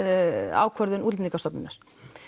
ákvörðun Útlendingastofnunar